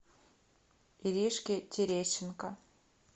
иришки терещенко